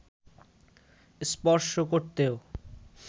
স্পর্শ করতেও